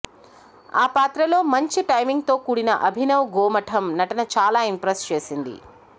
ఆ పాత్రలో మంచి టైమింగ్తో కూడిన అభినవ్ గోమఠం నటన చాలా ఇంప్రెస్ చేసింది